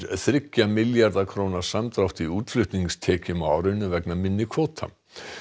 þriggja milljarða króna samdrátt í útflutningstekjum á árinu vegna minni kvóta